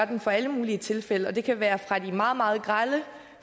dem for alle mulige tilfælde og det kan være fra de meget meget grelle